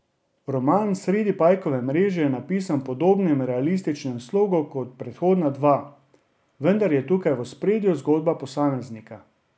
Roman Sredi pajkove mreže je napisan v podobnem realističnem slogu kot predhodna dva, vendar je tukaj v ospredju zgodba posameznika.